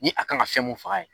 Ni a kan ka fɛn mun faga ye